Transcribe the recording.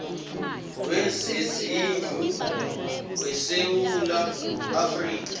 wezezindlu wesewula afrika